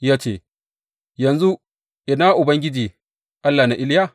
Ya ce, Yanzu ina Ubangiji Allah na Iliya?